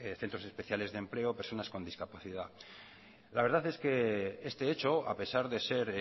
centros especiales de empleo personas con discapacidad la verdad es que este hecho a pesar de ser